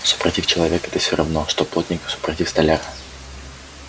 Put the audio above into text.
супротив человека ты все равно что плотник супротив столяра